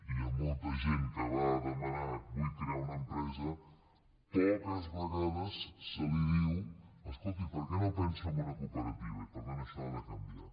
hi ha molta gent que va a demanar vull crear una empresa poques vegades se li diu escolti per què no pensa en una cooperativa i per tant això ha de canviar